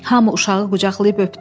Hamı uşağı qucaqlayıb öpdü.